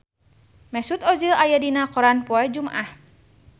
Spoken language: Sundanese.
Mesut Ozil aya dina koran poe Jumaah